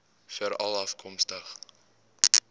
veralafkomstig